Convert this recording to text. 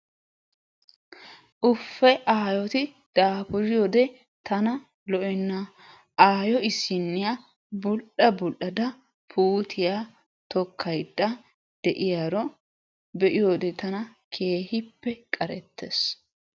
Ufee! Aayooti daafuriyodde tana lo"enna! Asyo issiniya bul"a bul"ada puutiya tokkayda de'iyaaro be'iyode tana keehippe qarettees.